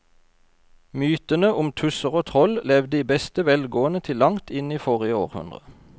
Mytene om tusser og troll levde i beste velgående til langt inn i forrige århundre.